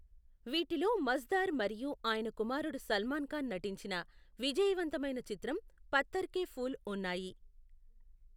వీటిలో మజ్దార్ మరియు ఆయన కుమారుడు సల్మాన్ ఖాన్ నటించిన, విజయవంతమైన చిత్రం పత్తర్ కే ఫూల్ ఉన్నాయి.